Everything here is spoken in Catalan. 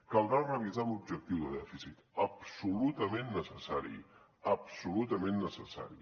caldrà revisar l’objectiu de dèficit absolutament necessari absolutament necessari